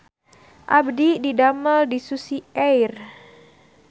Abdi didamel di Susi Air